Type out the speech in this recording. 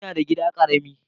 Ina da gida karamin.